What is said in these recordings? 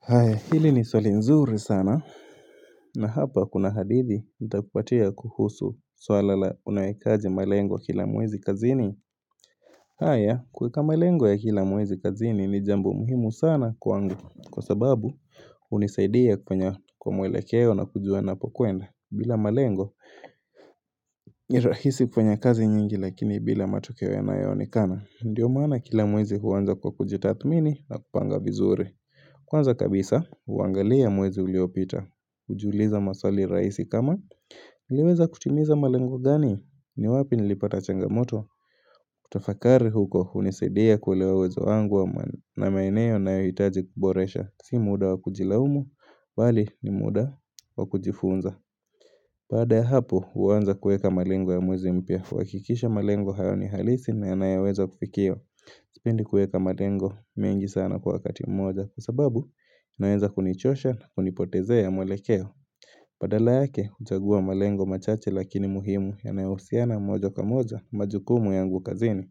Haya, hili ni swali nzuri sana na hapa kuna hadithi nitakupatia kuhusu swala la unawekaje malengo kila mwezi kazini? Haya kuweka malengo ya kila mwezi kazini ni jambo muhimu sana kwangu kwa sababu hunisaidia kufanya kwa mwelekeo na kujua napokuenda bila malengo rahisi kufanya kazi nyingi lakini bila matokeo yanayoonekana. Ndiyo mana kila mwezi huanza kwa kujitathmini na kupanga vizuri Kwanza kabisa huangalia mwezi uliopita Hujuiliza maswali rahisi kama, 'Nileweza kutimiza malengo gani? Ni wapi nilipata changamoto? ' Kutafakari huko hunisaidia kuelewa uwezo wangu na maeneo ninayohitaji kuboresha. Si muda wa kujilaumu. Bali ni muda wa kujifunza Baada ya hapo huanza kuweka malengo ya mwezi mpya. Kuhakikisha malengo hayo ni halisi na yanayoweza kufikiwa. Sipendi kuweka malengo mengi sana kwa wakati mmoja kwa sababu, inaeza kunichosha na kunipotezea mwelekeo Badala yake, huchagua malengo machache lakini muhimu yanayohusiana mojo kwa moja na majukumu yangu kazini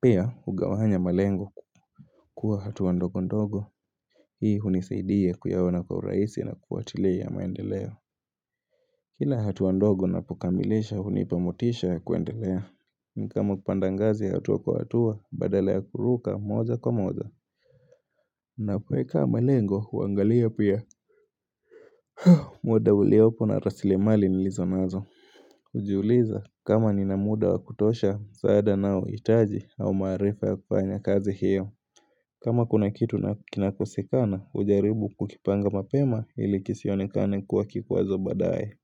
Pia, hugawanya malengo kua hatuwa ndogo ndogo Hii hunisaidia kuyaona kwa urahisi na kufuatilia maendeleo Kila hatua ndogo napokamilisha, hunipa motisha ya kuendelea. Ni kama kupanda ngazi hatua kwa hatua, badala ya kuruka moja kwa moja na kuweka malengo, huangalia pia muda uliopo na rasilimali nilizo nazo Hujiuliza kama nina muda wa kutosha msaada naohitaji au maarifa ya kufanya kazi hiyo. Kama kuna kitu kinakosekana hujaribu kukipanga mapema ili kisionekane kuwa kikwazo baadaye.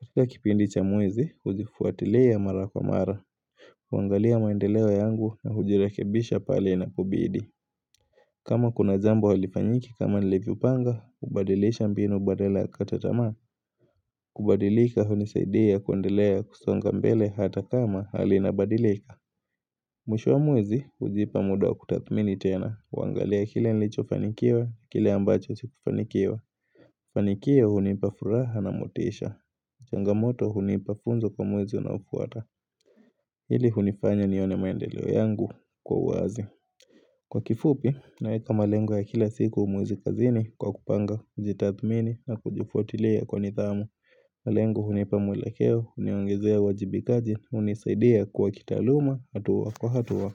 Kika kipindi cha mwezi hujifuatilia mara kwa mara huangalia maendeleo yangu na hujirekebisha pale inapobidi kama kuna jambo halifanyiki kama nilivyopanga hubadilisha mbinu badala ya kata tamaa. Kubadilika hunisaidia kuendelea kusonga mbele hata kama halina badilika. Mwisho wa mwezi hujipa muda wa kutathmini tena. Huangalia kile nilichofanikiwa, kile ambacho sikufanikiwa. Fanikiwa hunipa furaha na motisha. Changamoto hunipa funzo kwa mwezi unaofuata Hili hunifanya nione maendeleo yangu kwa uwazi. Kwa kifupi naweka malengo ya kila siku mwezi kazini kwa kupanga, kujitathmini na kujifuatilia kwa nidhamu. Malengo hunipa mwelekeo, huniongezea uajibikaji, hunisaidia kwa kitaaluma hatua kwa hatua.